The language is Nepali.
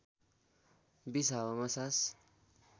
२० हावामा सास